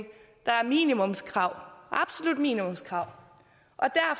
der er minimumskrav absolut minimumskrav